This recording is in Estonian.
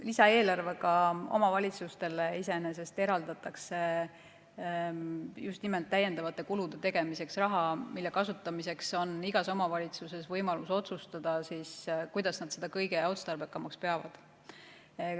Lisaeelarvega eraldatakse omavalitsustele just nimelt täiendavate kulude tegemiseks raha, mille kasutamisel on igal omavalitsusel võimalus ise otsustada, mida nad kõige otstarbekamaks peavad.